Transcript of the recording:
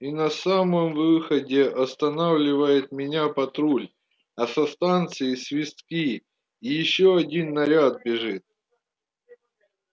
и на самом выходе останавливает меня патруль а со станции свистки и ещё один наряд бежит